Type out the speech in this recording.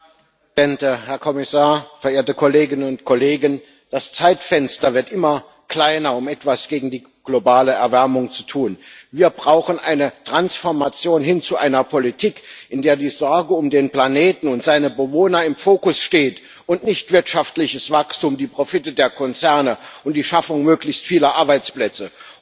Herr Präsident, Herr Kommissar, verehrte Kolleginnen und Kollegen! Das Zeitfenster, um etwas gegen die globale Erwärmung zu tun, wird immer kleiner. Wir brauchen eine Transformation hin zu einer Politik, in der die Sorge um den Planeten und seine Bewohner im Fokus steht und nicht wirtschaftliches Wachstum, die Profite der Konzerne und die Schaffung möglichst vieler Arbeitsplätze.